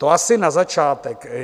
To asi na začátek.